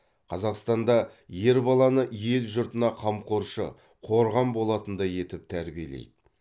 қазақстанда ер баланы ел жұртына қамқоршы қорған болатындай етіп тәрбиелейді